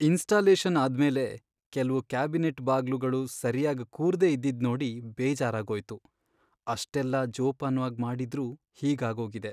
Installation ಆದ್ಮೇಲೆ ಕೆಲ್ವು cabinet ಬಾಗ್ಲುಗಳು ಸರ್ಯಾಗ್ ಕೂರ್ದೇ ಇದ್ದಿದ್ನೋಡಿ ಬೇಜಾರಾಗೋಯ್ತು, ಅಷ್ಟೆಲ್ಲ ಜೋಪಾನ್ವಾಗ್ ಮಾಡಿದ್ರೂ ಹೀಗಾಗೋಗಿದೆ.